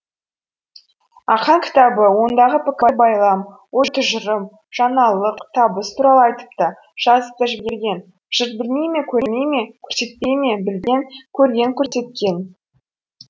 ақаң кітабы ондағы пікір байлам ой тұжырым жаңалық табыс туралы айтып та жазып та жіберген жұрт білмей ме көрмей ме көрсетпей ме білген көрген көрсеткен